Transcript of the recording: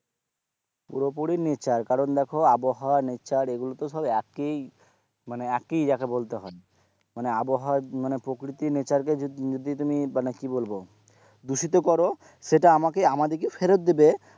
পুরোপুরি nature কারণ দেখো আবহাওয়া nature এইগুলো তো সব এক ই মানে এক ই যাকে একই বলতে হয় মানে আবহাওয়া মানে প্রকৃতি nature কে যদি তুমি মানে কি বলবো দূষিত করে সেটা আমাকে আমাদেরকে ফেরত দেবে,